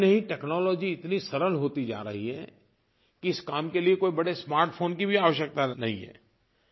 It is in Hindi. इतना ही नहीं टेक्नोलॉजी इतनी सरल होती जा रही है कि इस काम के लिए कोई बड़े स्मार्ट फोन की भी आवश्यकता नहीं है